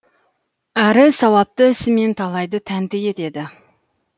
әрі сауапты ісімен талайды тәнті етеді